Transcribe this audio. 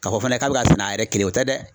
K'a fɔ fana k'a bɛ ka sɛnɛ a yɛrɛ kelen o tɛ dɛ.